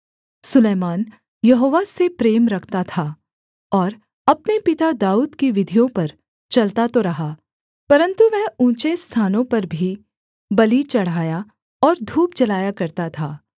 सुलैमान यहोवा से प्रेम रखता था और अपने पिता दाऊद की विधियों पर चलता तो रहा परन्तु वह ऊँचे स्थानों पर भी बलि चढ़ाया और धूप जलाया करता था